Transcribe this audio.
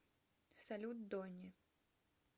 салют дони